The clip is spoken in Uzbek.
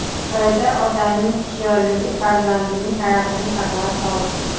Xitoyda otaning hushyorligi farzandining hayotini saqlab qoldi .